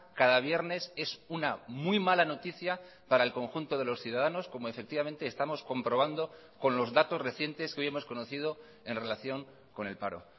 cada viernes es una muy mala noticia para el conjunto de los ciudadanos como efectivamente estamos comprobando con los datos recientes que hoy hemos conocido en relación con el paro